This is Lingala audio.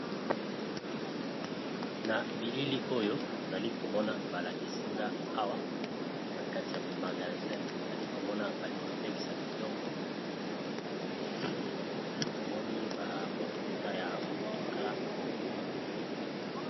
Na bilili oyo nali komona balakisinga awa na kati ya magazin nali komona bali kotekisa biloko namoni bamafuta ya motuka.